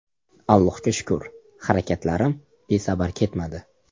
Allohga shukr, harakatlarim besamar ketmadi.